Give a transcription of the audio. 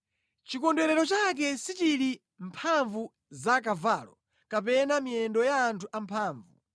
Chikondwerero chake sichili mʼmphamvu za kavalo, kapena mʼmiyendo ya anthu amphamvu.